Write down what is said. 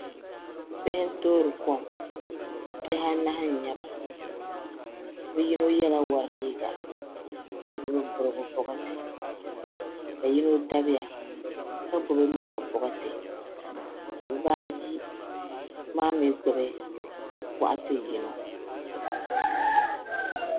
Bihi n toori kom bihi anahi n nyɛba bi yino yɛla wori liiga ka gbubi kurugu bokati ka yino dabiya ka gbubi loba boɣati ka bibaayi maa mii gbubi boɣati yino